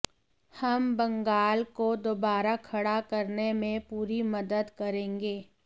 हम बंगाल को दोबारा खड़ा करने में पूरी मदद करेंगे